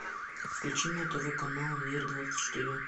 включи на тв канал мир двадцать четыре